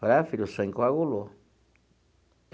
Falei ah filha, o sangue coagulou.